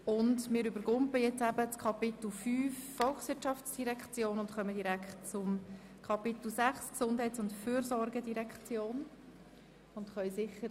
Nun überspringen wir das Kapitel 5 betreffend die VOL und gehen direkt zum Kapitel 6 betreffend die GEF über.